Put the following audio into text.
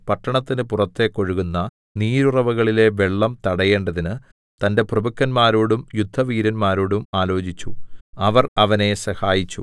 പട്ടണത്തിന് പുറത്തേക്ക് ഒഴുകുന്ന നീരുറവുകളിലെ വെള്ളം തടയേണ്ടതിന് തന്റെ പ്രഭുക്കന്മാരോടും യുദ്ധവീരന്മാരോടും ആലോചിച്ചു അവർ അവനെ സഹായിച്ചു